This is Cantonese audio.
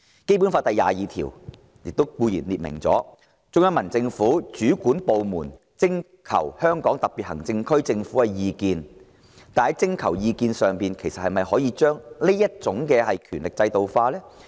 《基本法》第二十二條列明，中央人民政府主管部門徵求香港特別行政區政府的意見，才確定進入香港特別行政區定居的人數。